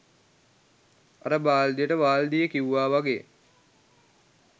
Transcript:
අර බාල්දියට වාල්දිය කිව්ව වගේ